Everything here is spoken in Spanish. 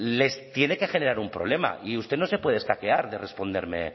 les tiene que generar un problema y usted no se puede escaquear de responderme